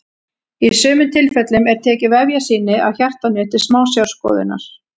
Í sumum tilfellum er tekið vefjasýni af hjartanu til smásjárskoðunar.